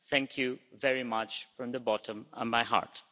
Thank you very much from the bottom of my heart.